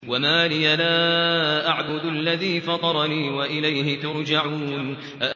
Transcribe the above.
وَمَا لِيَ لَا أَعْبُدُ الَّذِي فَطَرَنِي وَإِلَيْهِ تُرْجَعُونَ